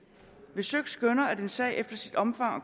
hvis søik skønner at en sag efter sit omfang og